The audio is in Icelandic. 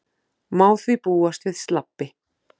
Má því búast við slabbi